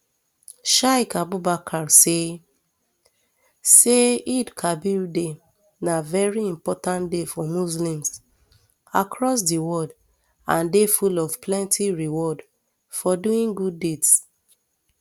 sheik abubakar say say eidelkabir day na veri important day for muslims across di world and day full of plenty rewards for doing good deeds